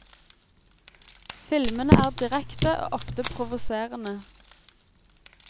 Filmene er direkte og ofte provoserende.